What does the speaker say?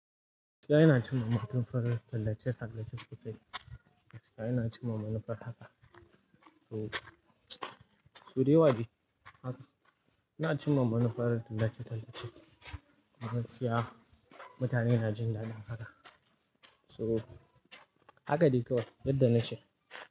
Ina cimma manufar tallace-tallace sosai. Ina cimma manufar haka. Sau da yawa dai haka, ina cimma manufar tallace-tallacen. Manufar siyasa, mutane na jin daɗin haka. So haka dai kawai, yadda nace.